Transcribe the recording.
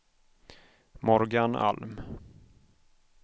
Morgan Alm